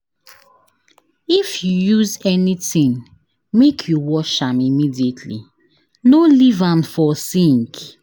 If you use anytin, make you wash am immediately, no leave am for sink.